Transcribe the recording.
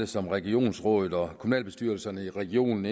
som regionsrådet og kommunalbestyrelserne i regionen